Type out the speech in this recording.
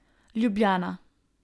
Ljubljana.